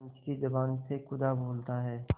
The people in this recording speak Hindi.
पंच की जबान से खुदा बोलता है